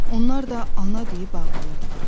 Onlar da “ana” deyib ağlayırdılar.